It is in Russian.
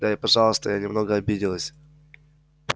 да и пожалуйста я немного обиделась